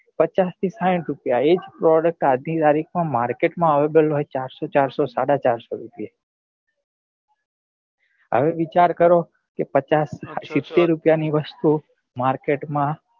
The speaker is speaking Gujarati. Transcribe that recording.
પચાસ થી સાહીંઠ રૂપિયા એ જ product આજ ની તારીખ માં market માં available ચારસો ચારસો સાડા ચારસો રૂપિયા હવે વિચાર કરો પચાસ કે સિત્તેર રૂપિયા ની વસ્તુ market